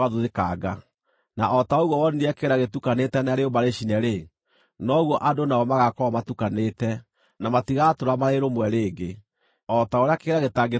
Na o ta ũguo wonire kĩgera gĩtukanĩte na rĩũmba rĩcine-rĩ, noguo andũ nao magaakorwo matukanĩte, na matigaatũũra marĩ rũmwe rĩngĩ, o ta ũrĩa kĩgera gĩtangĩtukana na rĩũmba.